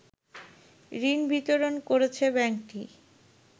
ঋণ বিতরণ করেছে ব্যাংকটি